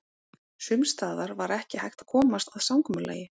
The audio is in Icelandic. Sums staðar var ekki hægt að komast að samkomulagi.